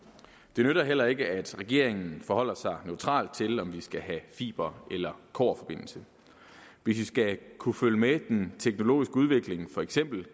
det nytter heller ikke at regeringen forholder sig neutral til om vi skal have fiber eller kobberforbindelse hvis vi skal kunne følge med den teknologiske udvikling for eksempel